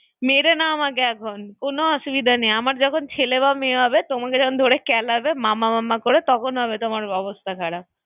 মেরে নাও আমাকে এখন হ্যাঁ হ্যাঁ কোনো অসুবিধা নেই আমার যখন ছেলে বা মেয়ে হবে তোমাকে যখন ধরে ক্যালাবে মামা মামা করে তখন হবে তোমার অবস্থা খারাপ